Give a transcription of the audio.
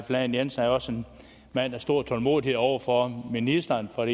lahn jensen er også en mand af stor tålmodighed over for ministeren for